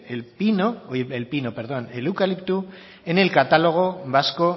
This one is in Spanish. el eucalipto en el catálogo vasco